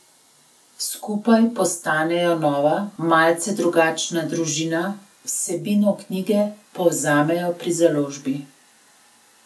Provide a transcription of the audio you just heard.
Skupaj postanejo nova, malce drugačna družina, vsebino knjige povzemajo pri založbi.